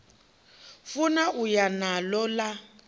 funa u ya naḽo ḽa